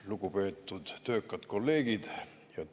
Lugupeetud töökad kolleegid!